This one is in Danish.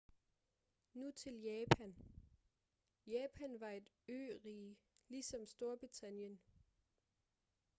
nu til japan japan var et ørige ligesom storbritannien